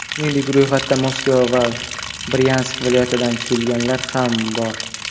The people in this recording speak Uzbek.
Shuningdek, ro‘yxatda Moskva va Bryansk viloyatidan kelganlar ham bor.